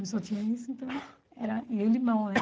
Eu só tinha isso, então era... E o limão, né?